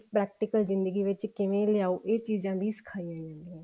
practical ਜਿੰਦਗੀ ਵਿੱਚ ਕਿਵੇਂ ਲਿਆਓ ਇਹ ਚੀਜ਼ਾਂ ਵੀ ਸਿਖਾਈਆਂ ਜਾਂਦੀਆਂ ਨੇ